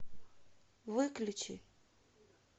выключи